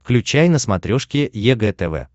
включай на смотрешке егэ тв